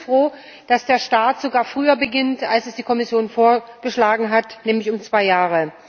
Wir sind froh, dass der Start sogar früher erfolgt, als es die Kommission vorgeschlagen hat, nämlich um zwei Jahre.